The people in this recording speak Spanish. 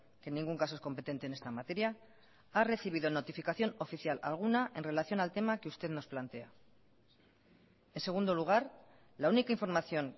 que en ningún caso es competente en esta materia ha recibido notificación oficial alguna en relación al tema que usted nos plantea en segundo lugar la única información